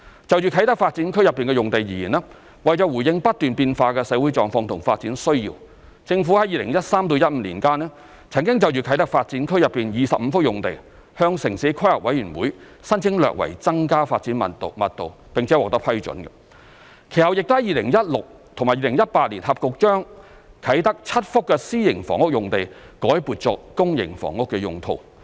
就啟德發展區內的用地而言，為回應不斷變化的社會狀況和發展需要，政府於2013年至2015年間，曾就啟德發展區內25幅用地向城市規劃委員會申請略為增加發展密度並獲批准，其後亦於2016年及2018年合共將啟德7幅私營房屋用地改撥作公營房屋用途。